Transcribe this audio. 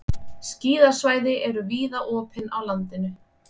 Skíðasvæði eru víða opin á landinu